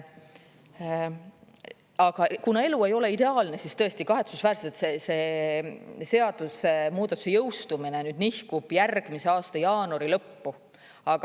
Aga kuna elu ei ole ideaalne, siis tõesti, kahetsusväärselt see seadusmuudatuse jõustumine nüüd nihkub järgmise aasta jaanuari lõppu.